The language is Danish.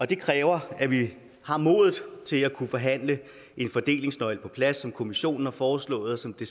det kræver at vi har modet til at kunne forhandle en fordelingsnøgle på plads som kommissionen har foreslået og som det